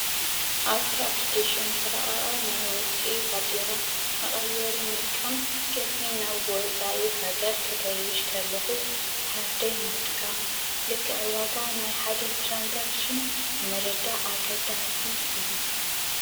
ኣብቲ ኣፕሊኬሽን ዝረቐቐ ናይ ወፃኢ ባጤራ መቐየሪ ምጥቃም ቅድሚ ናብ ወፃኢ ሃገር ክገይሽ ከለኹ ካርደይ ምጥቃም፣ ልክዕ ዋጋ ናይ ሓደ ትራንዛክሽን ምርዳእ ኣገዳሲ እዩ፡፡